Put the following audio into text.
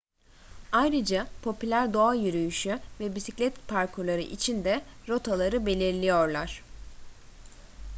ayrıca popüler doğa yürüyüşü ve bisiklet parkurları için de rotaları belirliyorlar